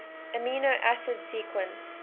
amino acid sequence